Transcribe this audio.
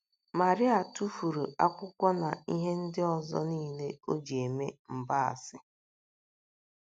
Maria tụfuru akwụkwọ na ihe ndị ọzọ niile o ji eme mgbaasị.